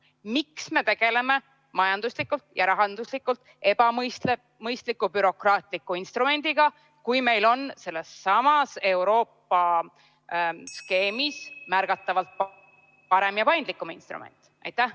Miks me tegeleme majanduslikult ja rahanduslikult ebamõistliku bürokraatliku instrumendiga, kui meil on sellessamas Euroopa skeemis märgatavalt parem ja paindlikum instrument?